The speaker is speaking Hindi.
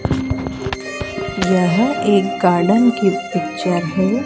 यह एक गार्डन की पिक्चर है।